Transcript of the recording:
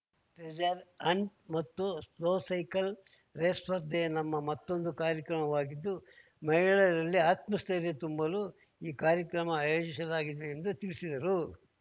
treasure hunt ಮತ್ತು slow cycle race ಸ್ಪರ್ಧೆಯು ನಮ್ಮ ಮತ್ತೊಂದು ಕಾರ್ಯಕ್ರಮವಾಗಿದ್ದು ಮಹಿಳೆಯರಲ್ಲಿ ಆತ್ಮಸ್ಥೈರ್ಯ ತುಂಬಲು ಈ ಕಾರ್ಯಕ್ರಮ ಆಯೋಜಿಸಲಾಗಿದೆ ಎಂದು ತಿಳಿಸಿದರು